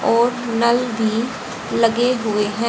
और नल भी लगे हुएं हैं।